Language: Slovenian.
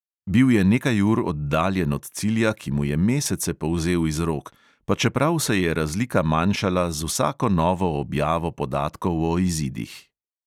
Bil je nekaj ur oddaljen od cilja, ki mu je mesece polzel iz rok, pa čeprav se je razlika manjšala z vsako novo objavo podatkov o izidih.